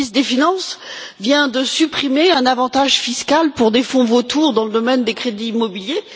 Le ministre des finances vient de supprimer un avantage fiscal pour des fonds vautours dans le domaine des crédits immobiliers.